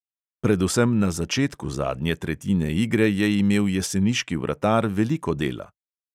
Predvsem na začetku zadnje tretjine igre je imel jeseniški vratar veliko dela.